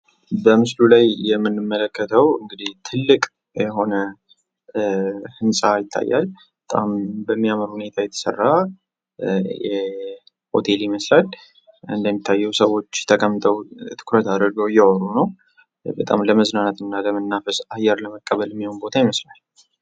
በምስሉ ላይ የምንመለከተው እንግዲህ ትልቅ የሆነ ህንፃ ይታያል በሚያምር ሁኔታ የተሰራ ሆቴል ይመስላል እንዴ እንደሚታየው ሰዎች ተቀምጦ ትኩረት አርገው ለመዝናናትና አየር ለመቀበል የሚሆን ቦታ ይመስላል።